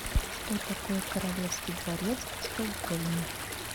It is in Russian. что такое королевский дворец в стокгольме